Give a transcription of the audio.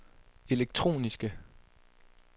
elektroniske